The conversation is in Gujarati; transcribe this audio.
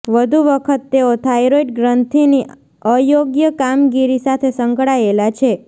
વધુ વખત તેઓ થાઇરોઇડ ગ્રંથિની અયોગ્ય કામગીરી સાથે સંકળાયેલા છે